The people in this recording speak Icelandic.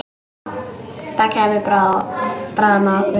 Það kæmi bráðum að okkur.